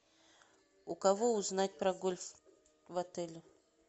у кого узнать про гольф в отеле